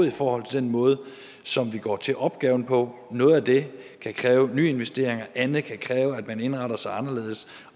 i forhold til den måde som vi går til opgaven på noget af det kan kræve nye investeringer andet kan kræve at man indretter sig anderledes